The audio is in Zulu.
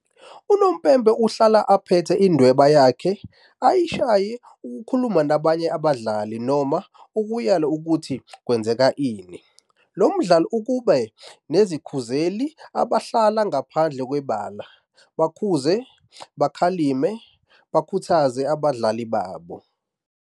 Unompempe uhlala aphethe indweba ykhe ayishaya ukukhuluma nabanye abadlali noma ukuyala ukuthi kwenzeke ini. Lo mdlalo ube nezikhuzeli abahlala ngaphandle kwebala, bakhuze, bakhalime, bakhuthaze abadlali babo.